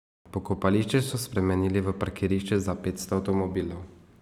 Pokopališče so spremenili v parkirišče za petsto avtomobilov.